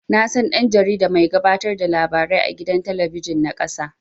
Nasan dan-jarida mai gabatar da labarai a gidan talabijin na ƙasa